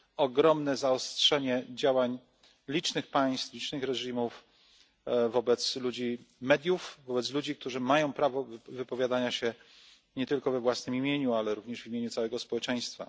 ogromne zaostrzenie działań licznych państw, licznych reżimów wobec ludzi mediów, wobec ludzi, którzy mają prawo do wypowiadania się nie tylko we własnym imieniu, ale również w imieniu całego społeczeństwa.